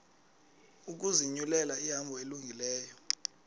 ukuzinyulela ihambo elungileyo